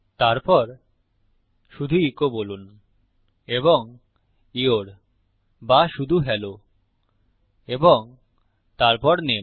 তারপর শুধু ইকো বলুন এবং ইউর বা শুধু হেলো এবং তারপর নামে